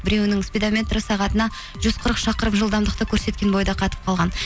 біреуінің спидаметрі сағатына жүз қырық шақырым жылдамдықты көрсеткен бойда қатып қалған